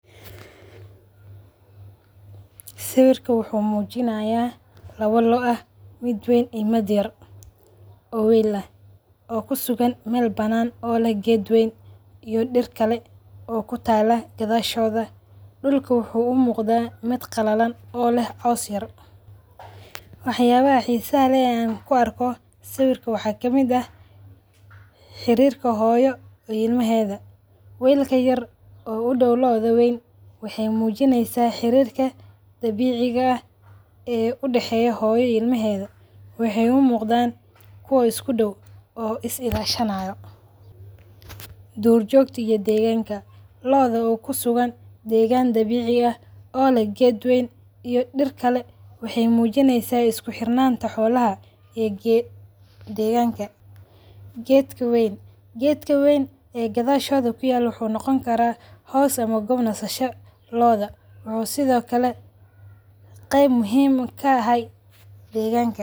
Sawirka wuxu mujinaya lawa lo`o mid wayn iyo mid yar oo weel ah oo kusugan meel banaan oo le geed weyn iyo diir kale oo kutaalo gadhashoda. Dulka wuxu u muqda mid qalalan oo leh caws yar. Wax yabaha xiisaha leeh oo an kuarko sawirka waxa kamid ah; xirirka hooyo iyo ilmaheeda, weelka yaar oo udaw lo`oda weyn waxay mujinaysa xirirka dabeciga aah udaxeyo hooyo iyo ilma heeda. Waxay u muqdan kuwa isku daw oo is ilashanayo. Duur jogta iyo deeganka, lo`oda oo kusugan degaan dabici aah oo leeh geed weyn iyo diir kale. Waxay mujinysa isku xirinanta xoolaha ee deganka. Geedka wayn, geedka wayn ee gadhashoda kuyaalo wuxu nogoni karaa hoos ama goob nasasha lo`oda oo sidho kale qeeb muhiim eeh kaahay deganka.